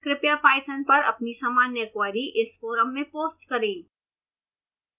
कृपया पाइथन पर अपनी सामान्य क्वेरी इस फोरम में पोस्ट करें